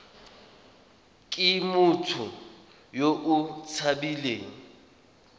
ke motho yo o tshabileng